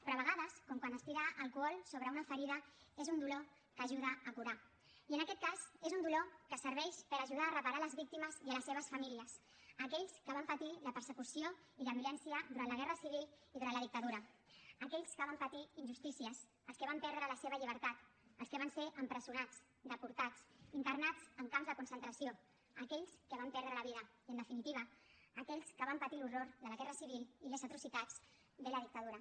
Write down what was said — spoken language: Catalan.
però a vegades com quan es tira alcohol sobre una ferida és un dolor que ajuda a curar i en aquest cas és un dolor que serveix per ajudar a reparar les víctimes i les seves famílies aquells que van patir la persecució i la violència durant la guerra civil i durant la dictadura aquells que van patir injustícies els que van perdre la seva llibertat els que van ser empresonats deportats internats en camps de concentració aquells que van perdre la vida i en definitiva aquells que van patir l’horror de la guerra civil i les atrocitats de la dictadura